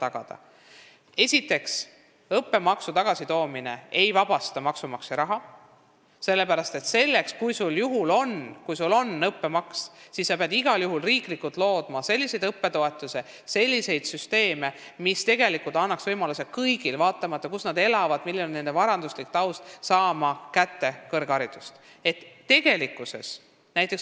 Samuti ei vabasta õppemaksu tagasitoomine maksumaksja raha, sellepärast et kui on õppemaks, siis peab igal juhul looma riiklikult ka selliseid õppetoetuse süsteeme, mis annaksid võimaluse kõigile, vaatamata sellele, kus keegi elab või milline on tema varanduslik taust.